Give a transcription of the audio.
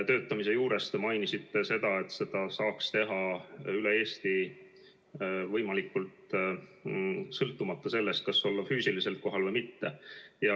Töötamise teema juures te mainisite seda, et seda peaks saama teha üle Eesti võimalikult sõltumata sellest, kas olla füüsiliselt kohal või mitte.